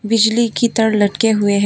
बिजली की तार लटके हुए हैं।